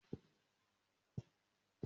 Mo máa fi pẹnisilínì sí ojú egbò tí ó wà ní ẹsẹ̀ mi